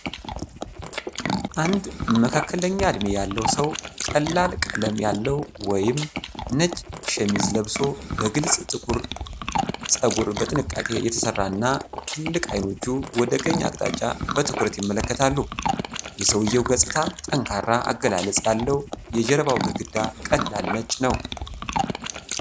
አንድ መካከለኛ ዕድሜ ያለው ሰው ቀላል ቀለም ያለው ወይም ነጭ ሸሚዝ ለብሶ በግልጽ ጥቁር ጸጉሩ በጥንቃቄ የተሰራ እና፣ ትልልቅ አይኖቹ ወደ ቀኝ አቅጣጫ በትኩረት ይመለከታሉ። የሰውየው ገጽታ ጠንካራ አገላለጽ ያለው የጀርባው ግድግዳ ቀላል ነጭ ነው።